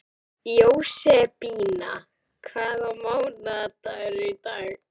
Jósebína, hvaða mánaðardagur er í dag?